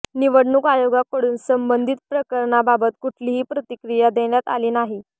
निवडणूक आयोगाकडून संबंधित प्रकरणाबाबत कुठली प्रतिक्रिया देण्यात आली नाही